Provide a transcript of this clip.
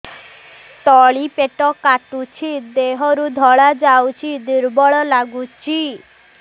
ତଳି ପେଟ କାଟୁଚି ଦେହରୁ ଧଳା ଯାଉଛି ଦୁର୍ବଳ ଲାଗୁଛି